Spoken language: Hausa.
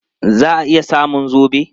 Za a iya samun zobe?